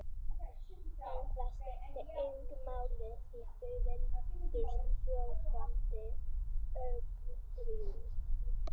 En það skipti engu máli því þau virtust sofandi, öll þrjú.